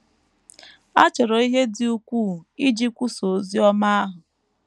A chọrọ ihe dị ukwuu iji kwusaa ozi ọma ahụ.